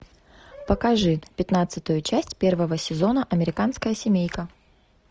покажи пятнадцатую часть первого сезона американская семейка